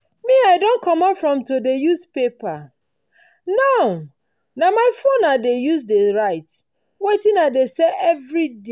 me i don comot from to dey use paper. now na my phone i dey use write wetin i dey sell everyday